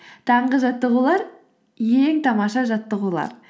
таңғы жаттығулар ең тамаша жаттығулар